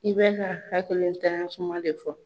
I bɛ ka hakilitanya kuma de fɔ.